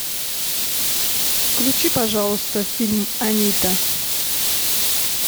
включи пожалуйста фильм анита